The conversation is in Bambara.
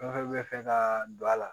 Fɛn fɛn bɛ fɛ ka don a la